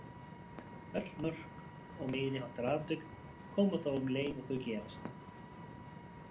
Öll mörk og meiri háttar atvik koma þó um leið og þau gerast.